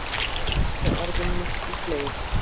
Hvað merkja orðin miklu fleiri?